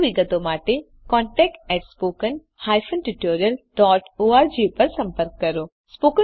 વધુ વિગતો માટે contactspoken tutorialorg પર સંપર્ક કરો